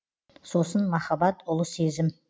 сосын махаббат ұлы сезім